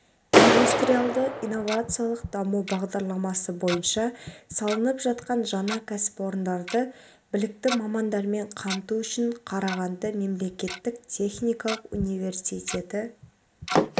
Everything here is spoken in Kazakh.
индустриалды-инновациялық даму бағдарламасы бойынша салынып жатқан жаңа кәсіпорындарды білікті мамандармен қамту үшін қарағанды мемлекеттік техникалық университеті